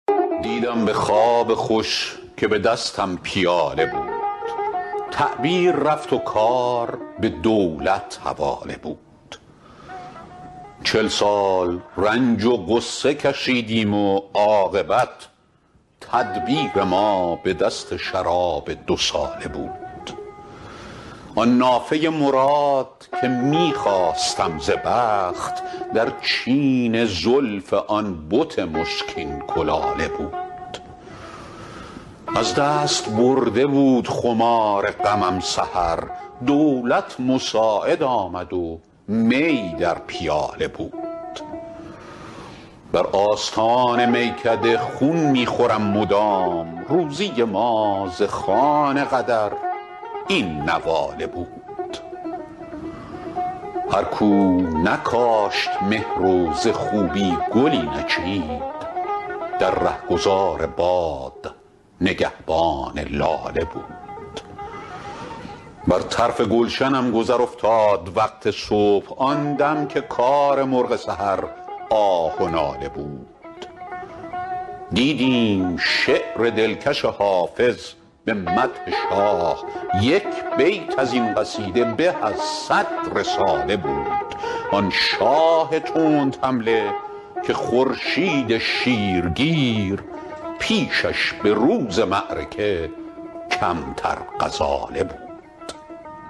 دیدم به خواب خوش که به دستم پیاله بود تعبیر رفت و کار به دولت حواله بود چل سال رنج و غصه کشیدیم و عاقبت تدبیر ما به دست شراب دوساله بود آن نافه مراد که می خواستم ز بخت در چین زلف آن بت مشکین کلاله بود از دست برده بود خمار غمم سحر دولت مساعد آمد و می در پیاله بود بر آستان میکده خون می خورم مدام روزی ما ز خوان قدر این نواله بود هر کو نکاشت مهر و ز خوبی گلی نچید در رهگذار باد نگهبان لاله بود بر طرف گلشنم گذر افتاد وقت صبح آن دم که کار مرغ سحر آه و ناله بود دیدیم شعر دلکش حافظ به مدح شاه یک بیت از این قصیده به از صد رساله بود آن شاه تندحمله که خورشید شیرگیر پیشش به روز معرکه کمتر غزاله بود